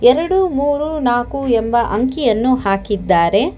ಎರಡು ಮೂರು ನಾಕು ಎಂಬ ಅಂಕಿಯನ್ನು ಹಾಕಿದ್ದಾರೆ.